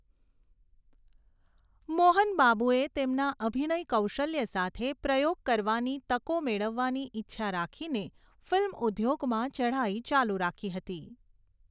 મોહન બાબુએ તેમના અભિનય કૌશલ્ય સાથે પ્રયોગ કરવાની તકો મેળવવાની ઇચ્છા રાખીને ફિલ્મ ઉદ્યોગમાં ચઢાઈ ચાલુ રાખી હતી.